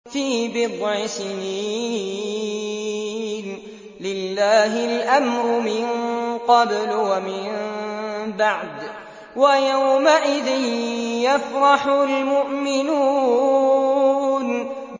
فِي بِضْعِ سِنِينَ ۗ لِلَّهِ الْأَمْرُ مِن قَبْلُ وَمِن بَعْدُ ۚ وَيَوْمَئِذٍ يَفْرَحُ الْمُؤْمِنُونَ